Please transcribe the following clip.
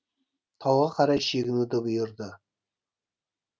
тауға қарай шегінуді бұйырды